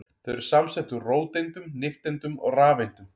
Þau eru samsett úr róteindum, nifteindum og rafeindum.